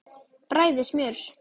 Bræðið smjör.